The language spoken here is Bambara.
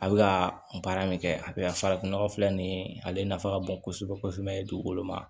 A bɛ ka baara min kɛ a bɛ farafinnɔgɔ filɛ nin ye ale nafa ka bon kosɛbɛ kosɛbɛ dugukolo ma